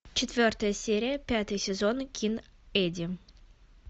четвертая серия пятый сезон кин эдди